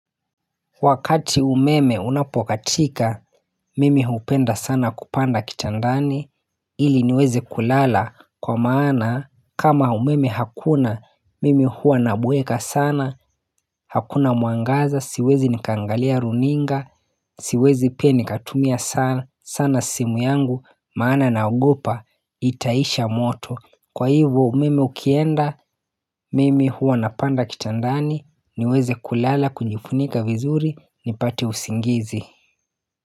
Wakati umeme unapokatika, mimi hupenda sana kupanda kitandani, ili niweze kulala kwa maana kama umeme hakuna, mimi huwa nabweka sana, hakuna muangaza, siwezi nikaangalia runinga, siwezi pia nikatumia sana, sana simu yangu, maana na ogopa, itaisha moto. Kwa hivo meme ukienda mimi huo napanda kitandani niweze kulala kunyifunika vizuri ni pate usingizi.